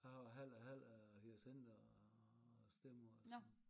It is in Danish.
Jeg har halv og halv af hyacinter og stedmoder altså